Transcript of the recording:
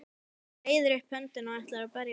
Hann reiðir upp höndina og ætlar að berja Pínu.